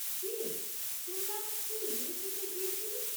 কী রে, শুনলাম তুই ওয়েসিস এ গিয়েছিলি?